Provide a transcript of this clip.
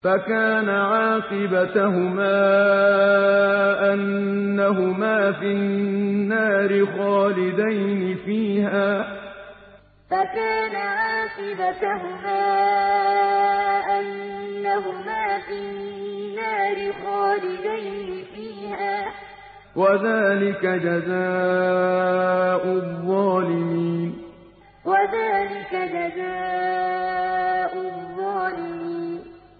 فَكَانَ عَاقِبَتَهُمَا أَنَّهُمَا فِي النَّارِ خَالِدَيْنِ فِيهَا ۚ وَذَٰلِكَ جَزَاءُ الظَّالِمِينَ فَكَانَ عَاقِبَتَهُمَا أَنَّهُمَا فِي النَّارِ خَالِدَيْنِ فِيهَا ۚ وَذَٰلِكَ جَزَاءُ الظَّالِمِينَ